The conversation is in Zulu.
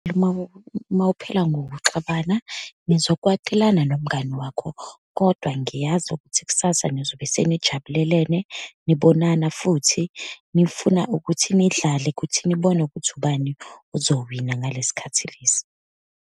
Uma uma uphila ngokuxabana, nizokwatelana nomngani wakho, kodwa ngiyazi ukuthi kusasa nizobe senijabulelene, nibonana futhi, nifuna ukuthi nidlale ukuthi nibone ukuthi ubani ozowina ngalesi khathi lesi.